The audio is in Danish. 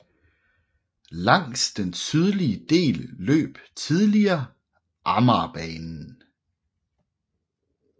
Langs den sydlige del løb tidligere Amagerbanen